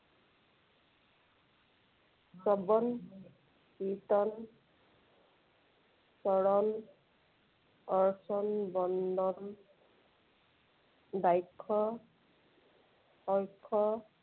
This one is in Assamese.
শ্ৰৱণ, কীৰ্ত্তন, চৰণ, অৰ্চন, বন্দন, , অক্ষ